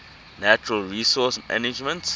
natural resource management